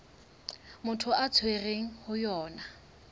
motho a tshwerweng ho yona